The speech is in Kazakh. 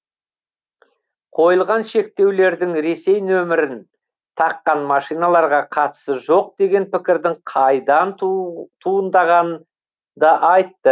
қойылған шектеулердің ресей нөмірін таққан машиналарға қатысы жоқ деген пікірдің қайдан туындағанын да айтты